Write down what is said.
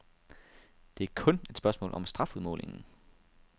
Det er kun et spørgsmål om strafudmålingen.